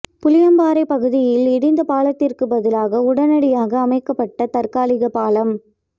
புளியம்பாறைப் பகுதியில் இடிந்த பாலத்திற்கு பதிலாக உடனடியாக அமைக்கப்பட்ட தற்காலிக பாலம்